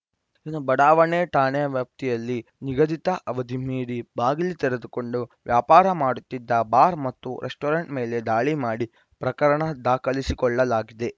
ಇನ್ನು ಬಡಾವಣೆ ಠಾಣೆ ವ್ಯಾಪ್ತಿಯಲ್ಲಿ ನಿಗದಿತ ಅವದಿ ಮೀರಿ ಬಾಗಿಲು ತೆರೆದುಕೊಂಡು ವ್ಯಾಪಾರ ಮಾಡುತ್ತಿದ್ದ ಬಾರ್‌ ಮತ್ತು ರೆಸ್ಟೋರೆಂಟ್‌ ಮೇಲೆ ದಾಳಿ ಮಾಡಿ ಪ್ರಕರಣ ದಾಖಲಿಸಿಕೊಳ್ಳಲಾಗಿದೆ